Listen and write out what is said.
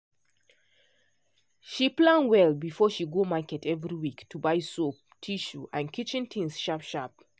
she plan well before she go market every week to buy soap tissue and kitchen things sharp sharp.